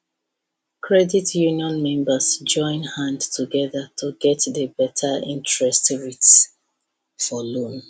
credit union members join hand together to to get better interest rates for loan